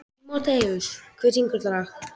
Tímoteus, hver syngur þetta lag?